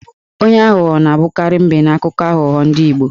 Onye aghụghọ na-abụkarị M̀bé n'akụkọ aghụgbọ ndị Igbo.